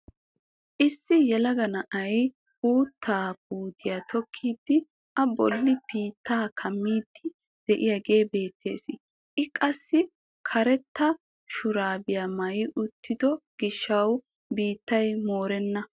Issi yelega na'ay uuttaa puutiyaa tokkidi a bolli biittaa kaammiidi de'iyaagee beettees. I qassi karetta shuraabiyaa maayi uttido giishshawu biittay moorenna.